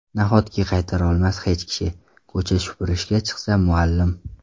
Nahotki qaytara olmas hech kishi, Ko‘cha supurishga chiqsa muallim.